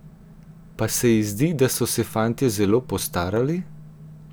Pa se ji zdi, da so se fantje zelo postarali?